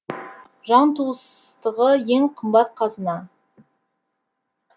жан туыстығы ең қымбат қазына